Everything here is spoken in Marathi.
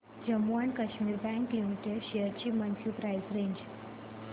Jammu and Kashmir bank limited shares ची मंथली प्राइस रेंज